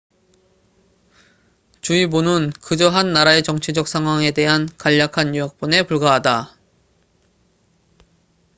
주의보는 그저 한 나라의 정치적 상황에 대한 간략한 요약본에 불과하다